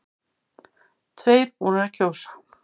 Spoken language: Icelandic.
Tveir búnir að kjósa